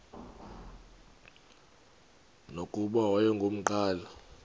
nokuba wayengu nqal